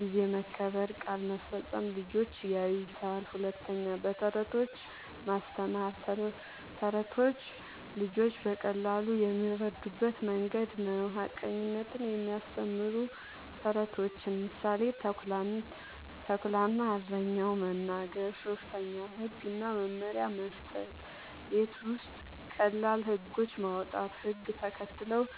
(ጊዜ መከበር፣ ቃል መፈጸም) ልጆች ያዩታል። ፪. በተረቶች ማስተማር፦ ተረቶች ልጆች በቀላሉ የሚረዱበት መንገድ ነዉ። ሐቀኝነትን የሚያስተምሩ ተረቶችን (ምሳሌ፦ “ተኩላ እና እረኛው”) መናገር። ፫. ህግ እና መመሪያ መስጠት፦ ቤት ውስጥ ቀላል ህጎች ማዉጣት፣ ህግ ተከትለው